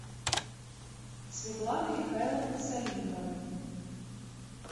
светланы михайловны салиховой